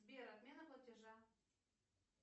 сбер отмена платежа